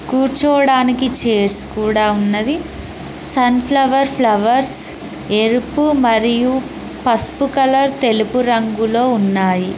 కూర్చోవడానికి చైర్స్ కూడా ఉన్నది సన్ఫ్లవర్ ఫ్లవర్స్ ఎరుపు మరియు పసుపు కలర్ తెలుపు రంగులో ఉన్నాయి.